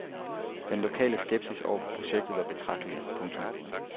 Den lokale skepsis over for projektet var betragtelig. punktum